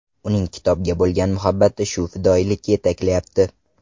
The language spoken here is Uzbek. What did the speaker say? Uning kitobga bo‘lgan muhabbati shu fidoyilikka yetaklayapti.